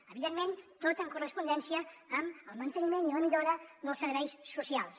evidentment tot en correspondència amb el manteniment i la millora dels serveis socials